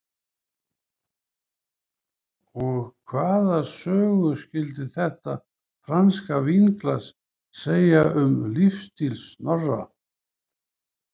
Og hvaða sögu skyldi þetta franska vínglas segja um lífsstíl Snorra?